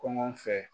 Kɔngɔ fɛ